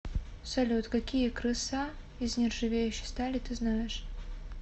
салют какие крыса из нержавеющей стали ты знаешь